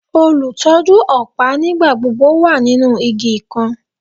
Olutọju ọpa nigbagbogbo wa ninu igi kan